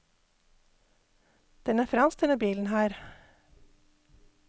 Den er fransk, denne bilen her.